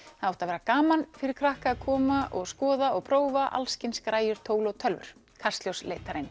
það átti að vera gaman fyrir krakka að koma og skoða og prófa alls kyns græjur tól og tölvur kastljós leit þar inn